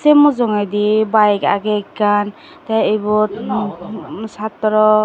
say mujungedi bike agey ekkan tay ibot hmm satraw.